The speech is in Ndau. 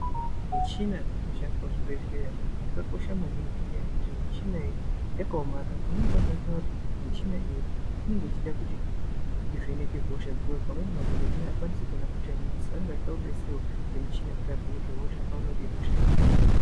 Michina dzinoshandiswa muzvibhehleya yakakosha maningi ngenyaya yekuti michina iyi yakaomarara pamweni pacho unotoona kuti michina iyi inenge ichida kuti ivheneke hosha. Pamweni pacho madhogodheya haakwanisi kuona hosha iyi ngemadziso, anenge achida kubetserwa ngemuchina kuti avheneke hosha aone kuti ihosha yekaindiyi.